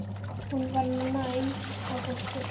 Hún var næm á fólk.